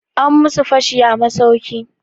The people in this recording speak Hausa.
An musu fashi a masauki.